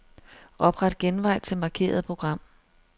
Opret genvej til markerede program.